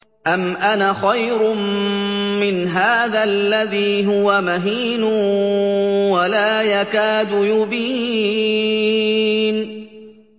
أَمْ أَنَا خَيْرٌ مِّنْ هَٰذَا الَّذِي هُوَ مَهِينٌ وَلَا يَكَادُ يُبِينُ